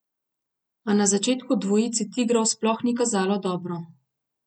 A na začetku dvojici tigrov sploh ni kazalo dobro.